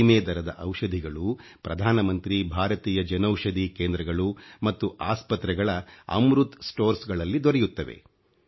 ಕಡಿಮೆ ದರದ ಔಷಧಿಗಳು ಪ್ರಧಾನಮಂತ್ರಿ ಭಾರತೀಯ ಜನೌಷಧಿ ಕೇಂದ್ರಗಳು ಮತ್ತು ಆಸ್ಪತ್ರೆಗಳ ಅಮೃತ್ sಣoಡಿes ಗಳಲ್ಲಿ ದೊರೆಯುತ್ತವೆ